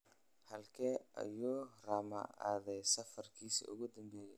Halkee ayuu Rama aaday safarkiisii ​​ugu dambeeyay?